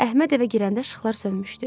Əhməd evə girəndə işıqlar sönmüşdü.